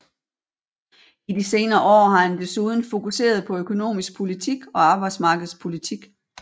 I de senere år har han desuden fokuseret på økonomisk politik og arbejdsmarkedspolitik